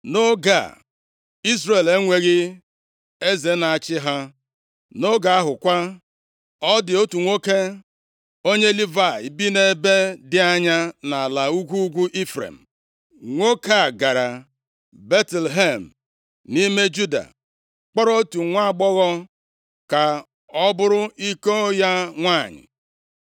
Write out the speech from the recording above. Nʼoge a, Izrel enweghị eze na-achị ha. Nʼoge ahụ kwa, ọ dị otu nwoke, onye Livayị bi nʼebe dị anya nʼala ugwu ugwu Ifrem. Nwoke a gara Betlehem, nʼime Juda, kpọrọ otu nwaagbọghọ ka ọ bụrụ iko ya nwanyị.